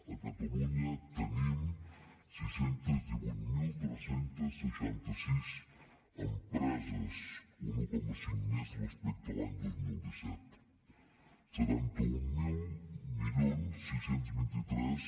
a catalunya tenim sis cents i divuit mil tres cents i seixanta sis empreses un un coma cinc més respecte a l’any dos mil disset setanta mil sis cents i vint tres